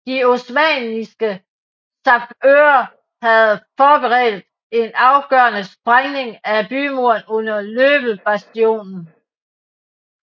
De osmanniske sappører havde forberedt en afgørende sprængning af bymuren under Löbelbastionen